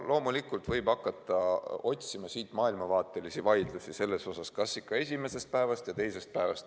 Loomulikult võib hakata otsima siit maailmavaatelisi vaidlusi selle üle, kas ikka esimesest päevast või teisest päevast.